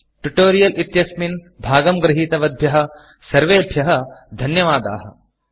tutorial इत्यस्मिन् भागं गृहीतवद्भ्यः सर्वेभ्यः धन्यवादाः